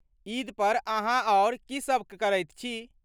ईद पर अहाँ आओर की सब करैत छी?